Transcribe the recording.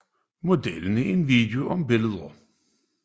Modellen er en video om billeder